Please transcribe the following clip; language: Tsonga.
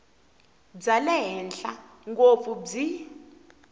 bya le henhla ngopfu byi